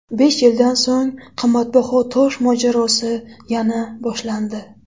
Besh yildan so‘ng qimmatbaho tosh mojarosi yana boshlandi.